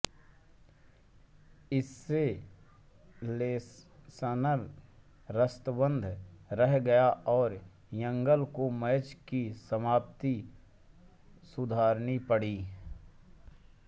इस से लेसनर स्तब्ध रह गए और एंगल को मैच की समाप्ति सुधारनी पड़ी